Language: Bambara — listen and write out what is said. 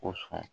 Ko sɔn